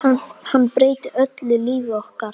Hann breytir öllu lífi okkar.